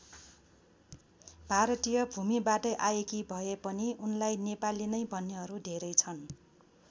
भारतीय भूमिबाटै आएकी भए पनि उनलाई नेपाली नै भन्नेहरू धेरै छन्।